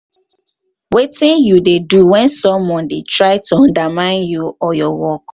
wetin um you um dey do when someone dey try to undermine you or your work.